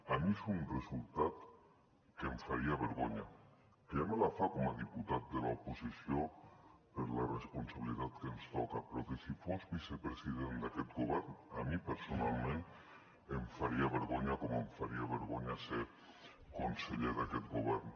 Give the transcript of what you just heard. a mi és un resultat que em faria vergonya que ja me la fa com a diputat de l’oposició per la responsabilitat que ens toca però que si fos vicepresident d’aquest govern a mi personalment em faria vergonya com em faria vergonya ser conseller d’aquest govern